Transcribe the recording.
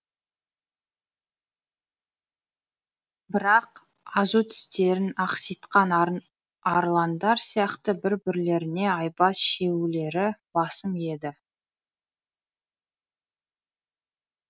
бірақ азу тістерін ақситқан арландар сияқты бір бірлеріне айбат шегулері басым еді